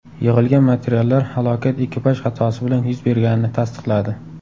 Yig‘ilgan materiallar halokat ekipaj xatosi bilan yuz berganini tasdiqladi.